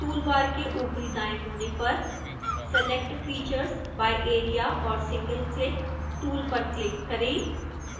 tool bar के ऊपरी दाएं कोने पर select features by area or single click tool पर क्लिक करें